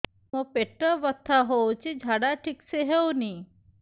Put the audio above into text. ମୋ ପେଟ ବଥା ହୋଉଛି ଝାଡା ଠିକ ସେ ହେଉନି